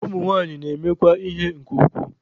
Ụmụ nwanyị na-emekwa ihere nke ukwuu.